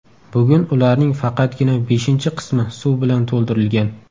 Bugun ularning faqatgina beshinchi qismi suv bilan to‘ldirilgan.